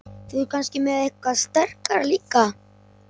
Þú ert kannski með eitthvað sterkara líka?